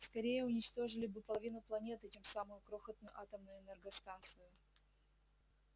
скорее уничтожили бы половину планеты чем самую крохотную атомную энергостанцию